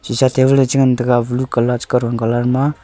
shisha table a che ngan taiga blue colour kawthon colour ma.